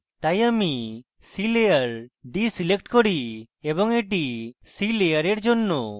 তাই আমি sea layer seadeselect করি এবং এটি sea layer জন্য